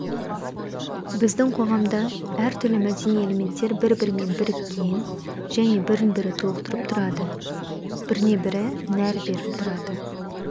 біздің қоғамда әртүрлі мәдени элементтер бір-бірімен біріккен және бірін-бірі толықтырып тұрады біріне-бірі нәр беріп тұрады